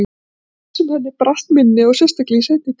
Það var svo oft sem henni brast minnið og sérstaklega í seinni tíð.